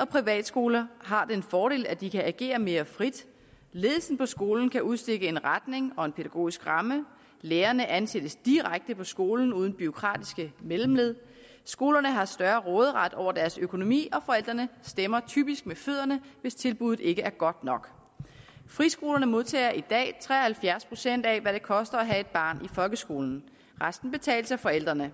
og privatskoler har den fordel at de kan agere mere frit ledelsen på skolen kan udstikke en retning og en pædagogisk ramme lærerne ansættes direkte på skolen uden bureaukratiske mellemled skolerne har større råderet over deres økonomi og forældrene stemmer typisk med fødderne hvis tilbuddet ikke er godt nok friskolerne modtager i dag tre og halvfjerds procent af hvad det koster at have et barn i folkeskolen resten betales af forældrene